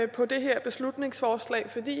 på det her beslutningsforslag fordi